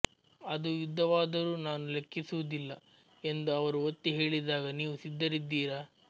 ಅದು ಯುದ್ಧವಾದರೂ ನಾನು ಲೆಕ್ಕಿಸುವುದಿಲ್ಲ ಎಂದು ಅವರು ಒತ್ತಿ ಹೇಳಿದಾಗ ನೀವು ಸಿದ್ಧರಿದ್ದೀರಾ